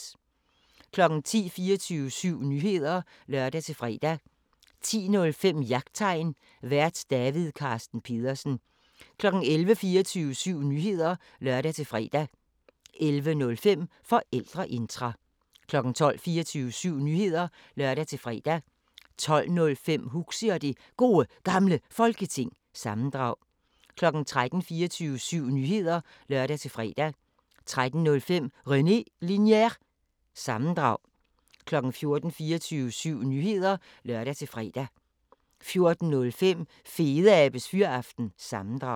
10:00: 24syv Nyheder (lør-fre) 10:05: Jagttegn Vært: David Carsten Pedersen 11:00: 24syv Nyheder (lør-fre) 11:05: Forældreintra 12:00: 24syv Nyheder (lør-fre) 12:05: Huxi og det Gode Gamle Folketing – sammendrag 13:00: 24syv Nyheder (lør-fre) 13:05: René Linjer- sammendrag 14:00: 24syv Nyheder (lør-fre) 14:05: Fedeabes Fyraften – sammendrag